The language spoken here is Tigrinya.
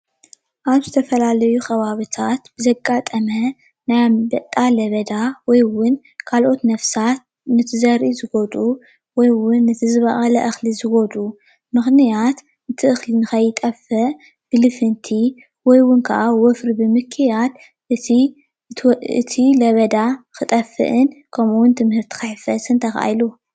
ኣብ ዝተፈላለዩ ኸባብታት ዘጋጠመ ናይ ኣምበጣ ለበዳ ወይ እዉን ካልኦት ነፍሳት ነቲ ዘርኢ ዝጎድኡ ወይ እውን ነቲ ዝበቐለ እኽሊ ዝበልዑ ምኽንያት እቲ እኽሊ ንኸይጠፍእ ብልፍንቲ ወይ እዉን ክዓ ወፍሪ ብምክያድ እቲ ለበዳ ክጠፍእን ከምኡዉን እቲ ምህርቲ ክሕፈስን ተኻኢሉ፡፡